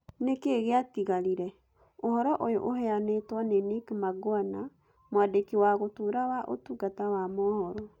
Nĩ kĩĩ gĩatigarire"? Ũhoro ũyũ ũheanĩtwo nĩ Nick Mangwana, Mwandĩki wa Gũtũũra wa Ũtungata wa mohoro.